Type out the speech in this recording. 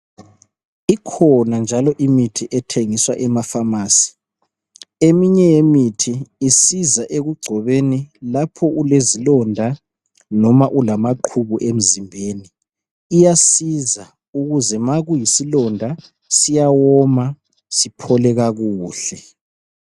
Ikhona njalo imithi ethengiswa emapharmacy. Eminye imithi isiza ekugcobeni lapho ulezilonda noma ulamaqhubu emzimbeni. Iyasiza ukuze ma kuyisilonda siyawoma siphole kakuhle.